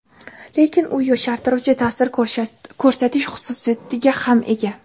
Lekin u yoshartiruvchi ta’sir ko‘rsatish xususiyatiga ham ega.